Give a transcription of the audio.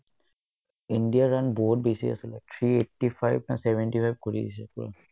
ইণ্ডিয়াৰ run বহুত বেছি আছিলে three eighty-five নে seventy-five কৰি দিছে পূৰা